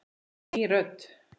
Ný rödd.